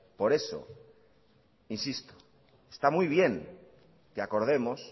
por eso insisto que está muy bien que acordemos